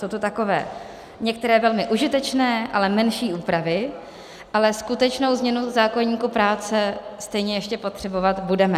Jsou to takové některé velmi užitečné, ale menší úpravy, ale skutečnou změnu zákoníku práce stejně ještě potřebovat budeme.